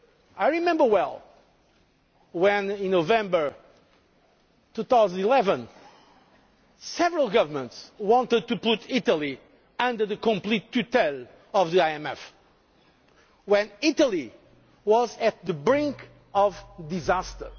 I remember well when, in November 2011, several governments wanted to put Italy firmly under the supervision of the IMF, when Italy was on the brink of disaster.